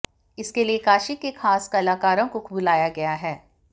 इसके लिए काशी के खास कलाकारों को बुलाया गया है